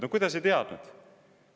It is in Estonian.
No kuidas ei teadnud?!